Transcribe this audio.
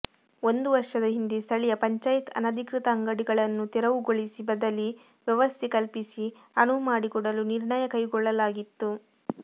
ಒಂದು ವರ್ಷದ ಹಿಂದೆ ಸ್ಥಳೀಯ ಪಂಚಾಯತ್ ಅನಧಿಕೃತ ಅಂಗಡಿಗಳನ್ನು ತೆರವುಗೊಳಿಸಿ ಬದಲಿ ವ್ಯವಸ್ಥೆ ಕಲ್ಪಿಸಿ ಅನುವು ಮಾಡಿಕೊಡಲು ನಿರ್ಣಯ ಕೈಗೊಳ್ಳಲಾಗಿತ್ತು